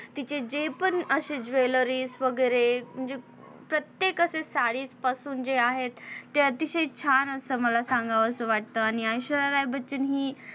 तिचे जे पण अशे jwelleries वगैरे ज प्रत्येक असे साडीपासून जे आहेत ते अतिशय छान असं मला सांगावंस वाटत आणि ऐश्वर्या राय बच्चन हि